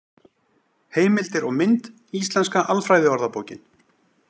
Heimildir og mynd: Íslenska alfræðiorðabókin.